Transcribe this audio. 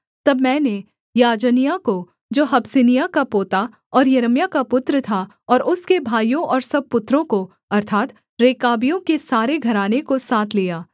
तब मैंने याजन्याह को जो हबस्सिन्याह का पोता और यिर्मयाह का पुत्र था और उसके भाइयों और सब पुत्रों को अर्थात् रेकाबियों के सारे घराने को साथ लिया